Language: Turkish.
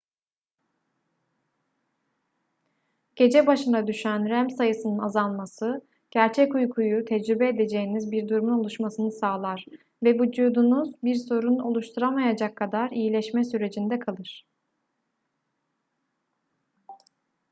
gece başına düşen rem sayısının azalması gerçek uykuyu tecrübe edeceğiniz bir durumun oluşmasını sağlar ve vücudunuz bir sorun oluşturamayacak kadar iyileşme sürecinde kalır